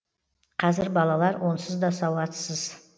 қазір балалар онсыз да сауатсыз